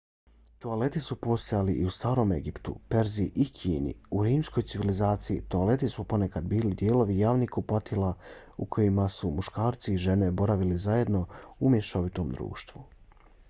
toaleti su postojali i u starom egiptu perziji i kini. u rimskoj civilizaciji toaleti su ponekad bili dijelovi javnih kupatila u kojima su muškarci i žene boravili zajedno u mješovitom društvu